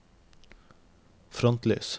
frontlys